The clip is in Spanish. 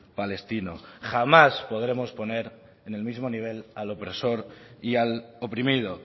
palestino jamás podremos poner en el mismo nivel al opresor y al oprimido